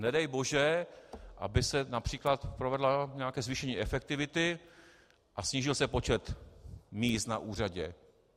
Nedej bože, aby se například provedlo nějaké zvýšení efektivity a snížil se počet míst na úřadě.